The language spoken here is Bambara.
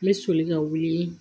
N bɛ soli ka wuli